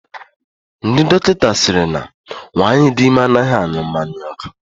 Ndị dọkịta sịrị na nwaanyị di ime anaghị aṅụ mmanya ọkụ.